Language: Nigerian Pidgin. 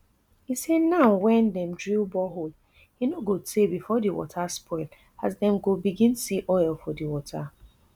e say now wen dem drill borehole e no go tay bifor di water spoil as dem go begin see oil for di water